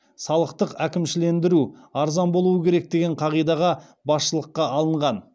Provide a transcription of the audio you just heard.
салықтық әкімшілендіру арзан болуы керек деген қағидаға басшылыққа алынған